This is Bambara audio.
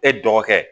E dɔgɔkɛ